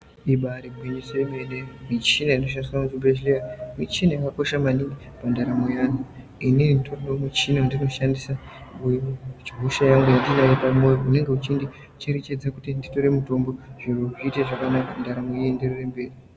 Imbari gwinyiso yemene , michini inoshandiswa kuzvibhedhlera , michina inokosha maningi pandaramo yeantu , inini nditoriwo nemuchina wandinoshandisa , wandinawo pamwoyo unenge uchindicherechedza kuti nditore mutombo ndaramo ienderere mberi.